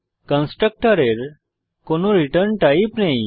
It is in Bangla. কনস্ট্রাক্টরের কোনো রিটার্ন টাইপ নেই